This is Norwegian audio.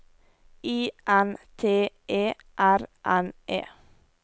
I N T E R N E